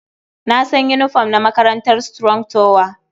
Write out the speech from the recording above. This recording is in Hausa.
Na san yinifom na makarantar Strong tower.